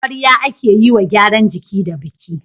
amarya ake yiwa gyaran jiki da biki